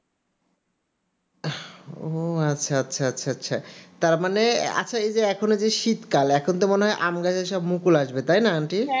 ও আচ্ছা আচ্ছা, তা মানে আচ্ছা এখন এই শীতকাল এখন তো মানে আম গাছে সব মুকুল আসবে তা তাই না aunty